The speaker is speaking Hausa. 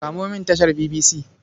Kamo mini tashar BBC.